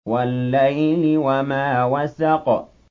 وَاللَّيْلِ وَمَا وَسَقَ